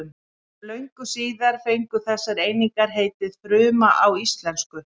Löngu síðar fengu þessar einingar heitið fruma á íslensku.